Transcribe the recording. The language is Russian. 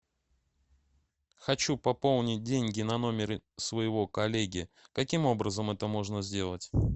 хочу пополнить деньги на номере своего коллеги каким образом это можно сделать